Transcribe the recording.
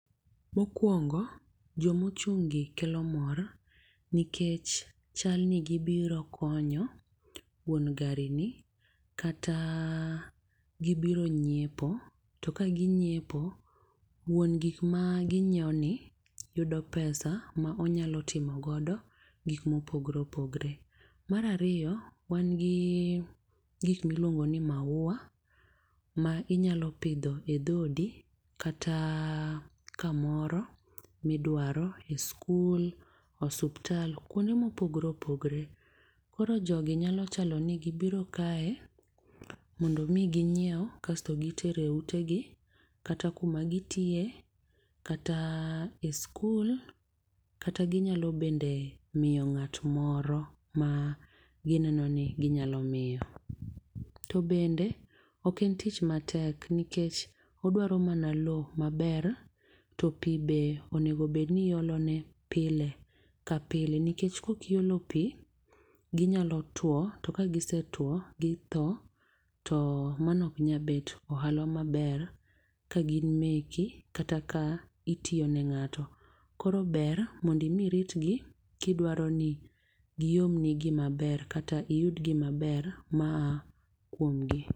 Mokwongo, jomochunggi kelo mor nikech chalni gibiro konyo wuon garini, kata gibiro nyiepo. To ka ginyiepo wuon gik ma ginyiewoni yudo pesa ma onyalo timo godo gik mopogore opogore. Mar ariyo, wan gi gik miluongoni maua ma inyalopidho e dhodi kata kamoro midwaro, e skul, osiptal kwonde mopogore opogore. Koro jogi nyalo chalo ni gibiro kae mondo mi ginyiew kasto gitere utegi, kata kuma gitiye, kata e skul kata, ginyalo bende miyo ng'at moro ma gineno ni ginyalo miyo. To bende, ok en tich matek nikech odwaro mana lowo maber to pi be onego bed ni iolone pile ka pile. Nikech kokiolo pi, ginyalo tuo to ka gise tuo, gi thoo to mano oknyal bet ohalo maber ka gin meki kata ka itiyo ne ng'ato. Koro ber mondi mi iritgi kidwaro ni giomni gimaber, kata iyud gimaber maa kuomgi.